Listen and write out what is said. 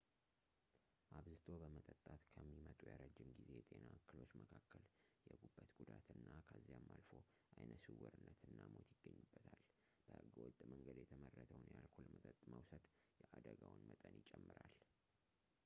አብዝቶ በመጠጣት ከሚመጡ የረዥም ጊዜ የጤና እክሎች መካከል የጉበት ጉዳት እና ከዚያም አልፎ አይነስውርነት እና ሞት ይገኙበታል በህገወጥ መንገድ የተመረተውን የአልኮል መጠጥ መውሰድ የአደጋው መጠን ይጨምራል